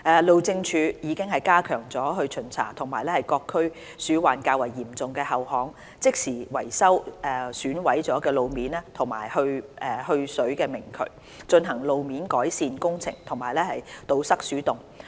路政署已加強巡查各區鼠患較為嚴重的後巷，即時維修損毀的路面及去水明渠，進行路面改善工程和堵塞鼠洞。